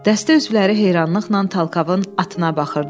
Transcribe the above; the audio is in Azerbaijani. Dəstə üzvləri heyranlıqla Talkavın atına baxırdılar.